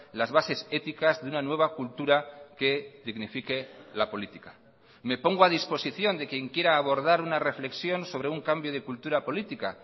las bases éticas de una nueva cultura que dignifique la política me pongo a disposición de quien quiera abordar una reflexión sobre un cambio de cultura política